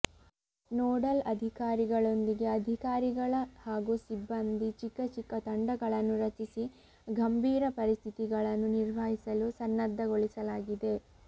nodal ಅಧಿಕಾರಿಗಳೊಂದಿಗೆ ಅಧಿಕಾರಿಗಳ ಹಾಗೂ ಸಿಬ್ಬಂದಿ ಚಿಕ್ಕ ಚಿಕ್ಕ ತಂಡಗಳನ್ನು ರಚಿಸಿ ಗಂಭೀರ ಪರಿಸ್ಥಿತಿಗಳನ್ನು ನಿರ್ವಹಿಸಲು ಸನ್ನದ್ಧಗೊಳಿಸಲಾಗಿದೆ